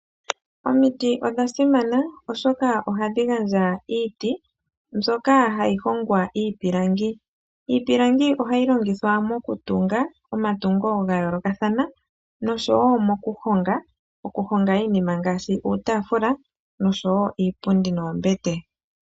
Omiti odha simana, oshoka ohadhi gandja iiti, moka hamu hongwa iipilangi. Iipilangi ohayi longithwa nduno mokutunga omatungo ga yoolokathana, yo muyo ohamu vulu wo okuhongwa iinima ngaashi uutaafula, iipundi noombete.